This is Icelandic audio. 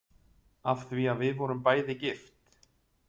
Af því að við vorum bæði gift?